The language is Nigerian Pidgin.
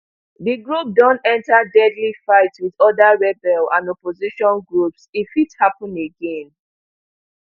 di group don enta deadly fights wit oda rebel and opposition groups e fit happun again